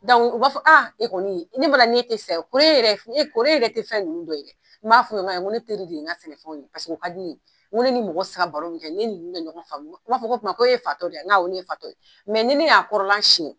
u b'a fɔ a e kɔni ne n'e tɛ sa ye e yɛrɛ ye kɔri e yɛrɛ tɛ fɛn ninnu dɔ ye n b'a fɔ ye ko ayi ne teri de ye n ka sɛnɛfɛn ye u ka di ne ye n ko ne ni mɔgɔ sa ka baro min kɛ ne ni ninnu bɛ ɲɔgɔn faamu u b'a fɔ o tuma ko e ye fatɔ de ye n ko awɔ ne ye fatɔ ye ni ne y'a kɔrɔla siɲɛ